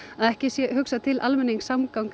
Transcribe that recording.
að ekki sé hugsað til almenningssamgangna